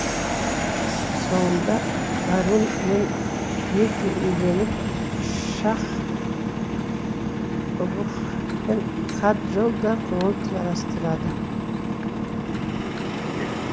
соңында варун мен крити үйленіп шакх рукх пен каджол да көңіл жарастырады